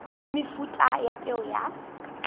le mefuta ya peo ya